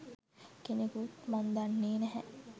කෙනෙකුත් මං දන්නේ නැහැ.